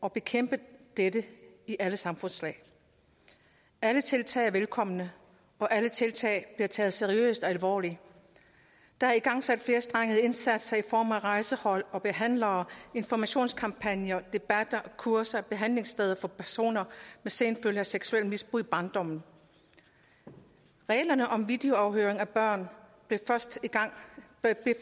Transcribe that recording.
at bekæmpe dette i alle samfundslag alle tiltag er velkomne og alle tiltag bliver taget seriøst og alvorligt der er igangsat flerstrengede indsatser i form af rejsehold og behandlere informationskampagner debatter og kurser og behandlingssteder for personer med senfølger af seksuelt misbrug i barndommen reglerne om videoafhøring af børn blev